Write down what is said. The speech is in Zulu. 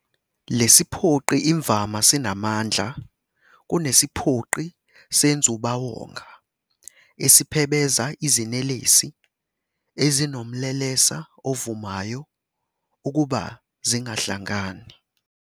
Lesiphoqi imvama sinamandla kunesiphoqi senzubawonga esiphebeza izinelesi ezinomlelesa ovumayo ukuba zingahlangani.